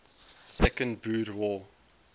second boer war